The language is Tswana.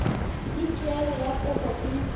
le tuelo ya kopo e